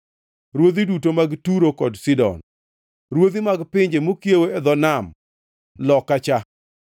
ruodhi duto mag Turo kod Sidon; ruodhi mag pinje mokiewo e dho nam loka kocha;